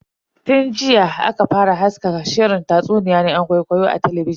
Tun jiya aka fara haska shirin tatsuniya na yan gwai-gwai a talabijin.